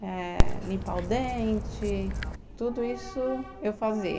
eh, limpar o dente, tudo isso eu fazia.